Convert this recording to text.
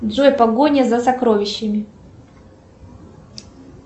джой погоня за сокровищами